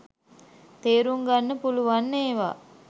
තේරුම්ගන්න පුළුවන් ඒවා.